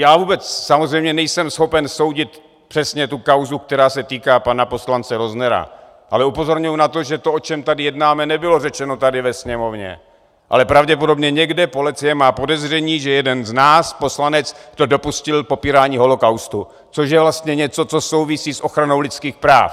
Já vůbec samozřejmě nejsem schopen soudit přesně tu kauzu, která se týká pana poslance Roznera, ale upozorňuji na to, že to, o čem tady jednáme, nebylo řečeno tady ve Sněmovně, ale pravděpodobně někde, policie má podezření, že jeden z nás, poslanec, se dopustil popírání holocaustu, což je vlastně něco, co souvisí s ochranou lidských práv.